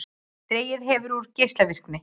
Dregið hefur úr geislavirkni